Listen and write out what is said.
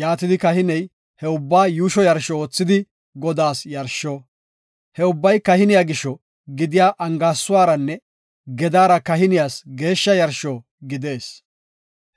Yaatidi kahiney he ubbaa yuusho yarsho oothidi, Godaas yarsho. He ubbay kahiniya gisho gidiya angaasuwaranne gedaara kahiniyas geeshsha yarsho gidees.